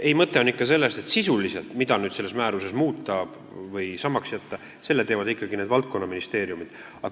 Ei, mõte on selles, et sisulise otsuse, mida selles määruses muuta või samaks jätta, teevad ikkagi valdkonnaministeeriumid.